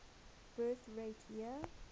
birth rate year